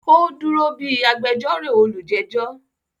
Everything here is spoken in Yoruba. ó dúró bí “agbẹjórò olùjẹ́jọ́”